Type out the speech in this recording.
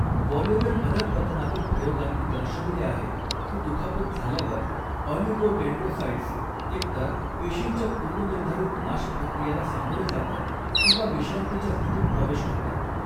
Wallerian अधप्पतनातील प्रयोगांनी दर्शविले आहे की दुखापत झाल्यावर, ऑलिगोडेंड्रोसाइट्स एकतर पेशींच्या पूर्वनिर्धारित नाश प्रक्रियेला सामोरे जातात किंवा विश्रांतीच्या स्थितीत प्रवेश करतात.